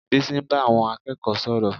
Bísí ń bá àwọn akẹ́kọ̀ọ́ sọ̀rọ̀